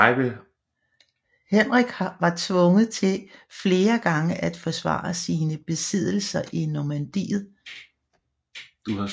Henrik var tvunget til flere gange at forsvare sine besiddelser i Normandiet